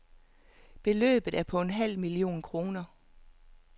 Beløbet er på en halv million kroner.